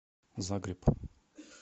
загреб